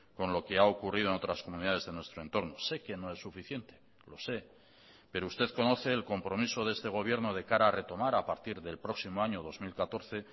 con lo que ha ocurrido en otras comunidades de nuestro entorno sé que no es suficiente lo sé pero usted conoce el compromiso de este gobierno de cara a retomar a partir del próximo año dos mil catorce